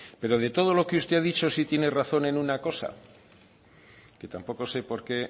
pero de todo lo que usted ha dicho sí tiene razón en una cosa que tampoco sé por qué